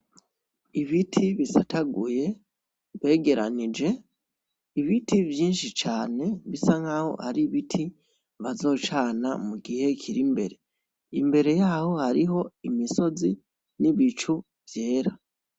Ibiti bisataguye begeranije, ibiti vyishi cane bisa nkaho ari ibiti bazocana mu gihe kiri imbere, imbere yaho hariho imisozi n'ibicu vyera.